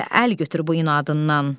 Gəl əl götür bu inadından.